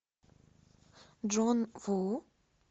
джон ву